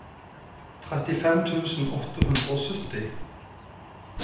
trettifem tusen åtte hundre og sytti